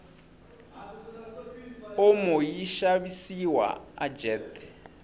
omo yishavisiwa ajet